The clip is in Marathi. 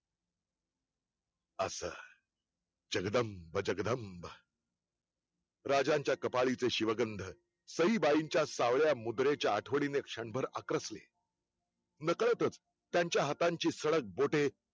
अंस, जगदंब जगदंब राजांचा कपाळी चे शिवगन्ध सईबाईंच्या सावळया मुद्रेच्या आठवणीने क्षणभर आकसले नकळतच त्यांचा हातांची सडक बोटे